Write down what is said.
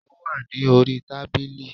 Ó wà ní orí tábìlì